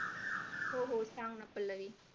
हो हो सांग ना पल्लवी